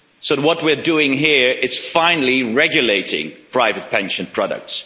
So, what we're doing here is finally regulating private pension products.